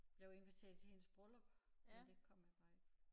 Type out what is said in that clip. Blevet inviteret til hendes bryllup men der kom han bare ikke